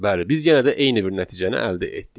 Bəli, biz yenə də eyni bir nəticəni əldə etdik.